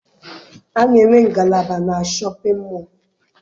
A na-enwe ngalaba na shọpịn mọọ.